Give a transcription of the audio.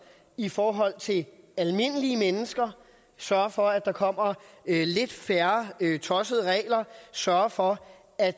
i forhold til almindelige mennesker sørge for at der kommer lidt færre tossede regler sørge for at